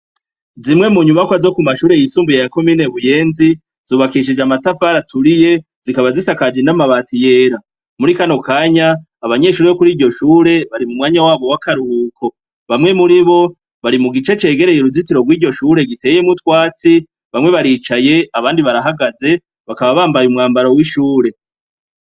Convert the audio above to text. Zimwe munyubakwa zo kumashure yisumbuye ya komine Buyenzi zubakishije amatafari aturiye, zikaba zisakaje n'amabati yera. Muri kano kanya, abanyeshure bo kuri iryo shure bari mu mwanya wabo w'akaruhuko. Bamwe muri bo, bari mu gice cegereye uruzitiro rw'iryo shure giteyemwo utwatsi. Bamwe baricaye abandi barahagaze, bakaba bambaye umwambaro w'ishure.